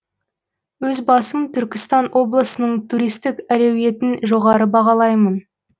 өз басым түркістан облысының туристік әлеуетін жоғары бағалаймын